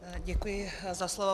Děkuji za slovo.